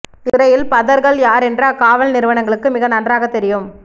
இத்துறையில் பதர்கள் யார் என்று அக்காவல் நிறுவனங்களுக்கு மிக நன்றாகத் தெரியும்